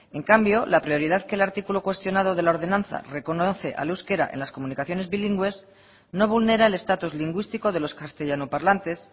en cambio la prioridad que el artículo cuestionado de la ordenanza reconoce al euskera en las comunicaciones bilingües no vulnera el estatus lingüístico de los castellanoparlantes